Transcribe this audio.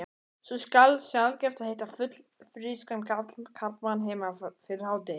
Svo sjaldgæft að hitta fullfrískan karlmann heima fyrir hádegi.